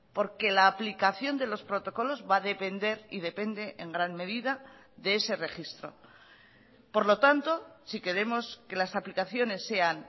porque la aplicación de los protocolos va a depender y depende en gran medida de ese registro por lo tanto si queremos que las aplicaciones sean